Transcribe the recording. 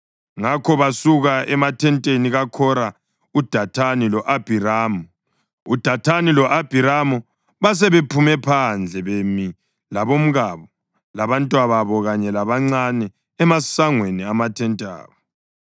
Ngakho basuka emathenteni kaKhora, uDathani lo-Abhiramu. UDathani lo-Abhiramu basebephume phandle bemi labomkabo, labantwababo kanye labancane emasangweni amathente abo.